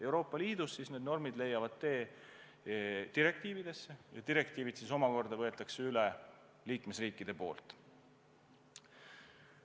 Euroopa Liidus need normid leiavad tee direktiividesse ja direktiivid võetakse liikmesriikides üle.